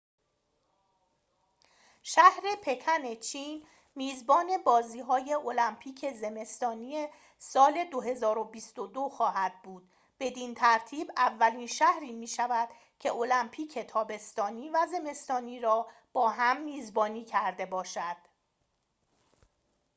شهر پکن چین میزبان بازی‌های المپیک زمستانی سال ۲۰۲۲ خواهد بود بدین ترتیب اولین شهری می‌شود که المپیک تابستانی و زمستانی را با هم میزبانی کرده باشد